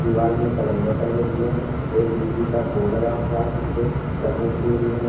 दीवाल में कैलेंडर टगें हुए हैं एक बिजली का बोर्ड लगा हुआ है जिससे लिए हुई है।